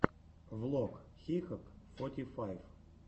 влог хикок форти файв